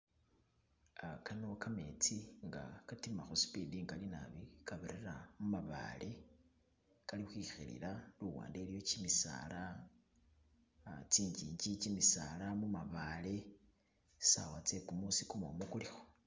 Uh Kano kametsi nga'katima khu'speed ingali nabii kabirira khumabale kalikhwikhilila luwande iliyo kyimisala, uh kyingingi, kyimisala, mamabale tsisawa tsekumusi kumumu kulikho